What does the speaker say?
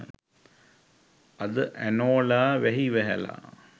අද ඇනෝලා වැහි වැහැලා